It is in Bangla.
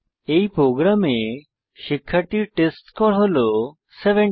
এই প্রোগ্রামে শিক্ষার্থীর টেস্টস্কোর হল 70